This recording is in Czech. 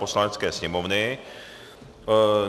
Poslanecké sněmovny